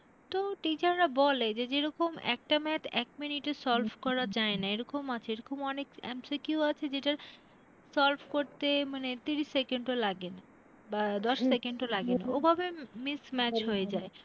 তো teacher রা বলে, যে যেরকম একটা math এক minute এ solve করা যায়না, এরকম আছে এরকম অনেক MCQ আছে যেটা solve করতে মানে তিরিশ second ও লাগে না বা দশ second ও লাগে না ওভাবে miss match হয়ে যায়।